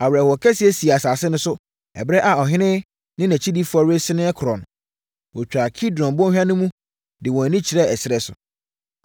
Awerɛhoɔ kɛseɛ sii asase no so, ɛberɛ a ɔhene ne nʼakyidifoɔ resene korɔ no. Wɔtwaa Kidron bɔnhwa no de wɔn ani kyerɛɛ ɛserɛ so.